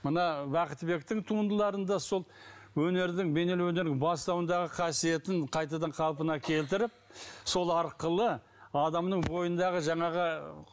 мына бақтыбектің туындыларында сол өнердің бейнелеу өнердің бастауындағы қасиетін қайтадан қалпына келтіріп сол арқылы адамның бойындағы жаңағы